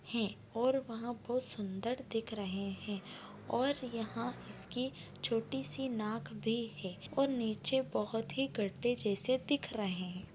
है और वहां बहुत सुंदर दिख रहे हैं और यहाँ इसकी छोटी सी नाक भी है और नीचे बहुत ही गड्डे जैसे दिख रहे हैं।